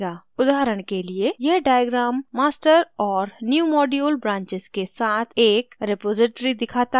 उदाहरण के लिए यह diagram master और newmodule branches के साथ एक रिपॉज़िटरी दिखाता है